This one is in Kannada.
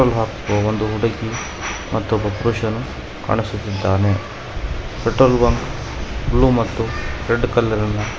ಒಂದು ಹುಡುಗಿ ಮತೊಬ್ಬ ಪುರುಷನು ಕಾಣಿಸುತ್ತಿದ್ದಾನೆ ಪೆಟ್ರೋಲ್ ಬಂಕ್ ಬ್ಲೂ ಮತ್ತು ರೆಡ್ ಕಲರಿ ನ --